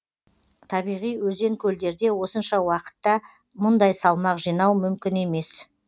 табиғи өзен көлдерде осынша уақытта мұндай салмақ жинау мүмкін емес